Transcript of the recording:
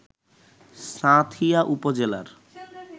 সাঁথিয়া উপজেলার